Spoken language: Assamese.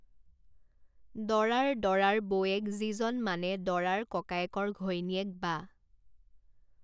দৰাৰ দৰাৰ বৌৱেক যিজন মানে দৰাৰ ককায়েকৰ ঘৈণীয়েক বা